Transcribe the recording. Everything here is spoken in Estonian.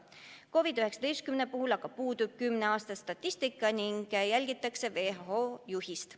COVID-19 puhul aga puudub kümne aasta statistika ning järgitakse WHO juhist.